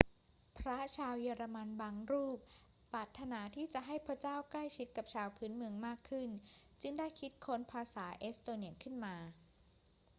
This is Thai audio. พระชาวเยอรมันบางรูปปรารถนาที่จะให้พระเจ้าใกล้ชิดชาวพื้นเมืองมากขึ้นจึงได้คิดค้นภาษาเอสโตเนียขึ้นมา